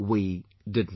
we did not